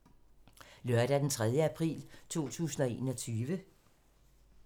Lørdag d. 3. april 2021